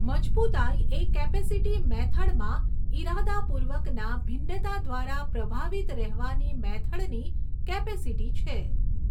મજબૂતાઈ એ કૅપેસિટી મેથડમાં ઇરાદાપૂર્વકના ભિન્નતા દ્વારા પ્રભાવિત રહેવાની મેથડની કેપેસીટી છે.